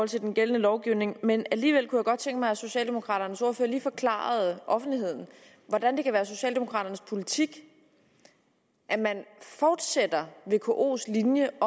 til den gældende lovgivning men alligevel kunne jeg godt tænke mig at socialdemokraternes ordfører lige forklarede offentligheden hvordan det kan være socialdemokraternes politik at man fortsætter vkos linje